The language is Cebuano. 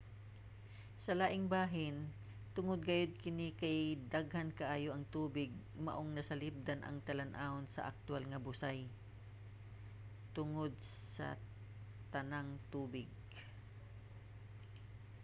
sa laing bahin tungod gayod kini kay daghan kaayo ang tubig maong masalipdan ang talan-awon sa aktuwal nga busay - tungod sa tanang tubig!